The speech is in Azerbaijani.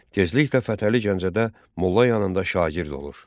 Tezliklə Fətəli Gəncədə molla yanında şagird olur.